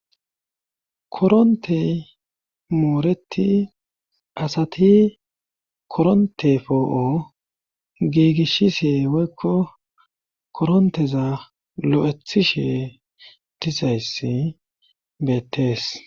korontey mooreti asati koronte foo7o giigishi see woykko koronteza lo7ethishe dizayssi beettees